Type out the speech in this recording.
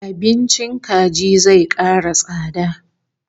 Abincin kaji zai kara tsada